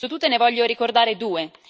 Su tutte ne voglio ricordare due.